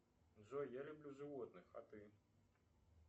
джой я люблю животных а ты